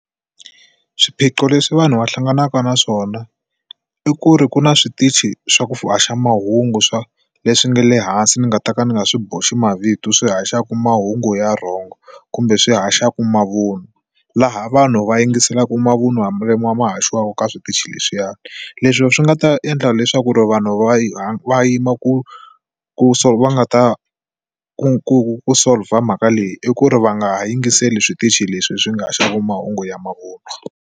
Swiphiqo leswi vanhu va hlanganaka na swona i ku ri ku na switichi swa ku haxa mahungu swa leswi nga le hansi ni nga ta ka ni nga swi boxi mavito swi haxaka mahungu ya wrong kumbe swi haxaka mavun'wa laha vanhu va yingiselaka mavun'wa ya mavun'wa ma haxiwa eka switichi leswiyani leswi swi nga ta endla leswaku ri vanhu va ya va yima ku ku va nga ta ku ku solver mhaka leyi i ku ri va nga ha yingiseli switichi leswi swi nga haxaka mahungu ya mavun'wa.